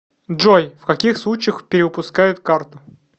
джой в каких случаях перевыпускают карту